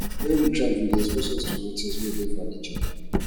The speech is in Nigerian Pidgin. when we travel e dey expose us to new things wey dey for nature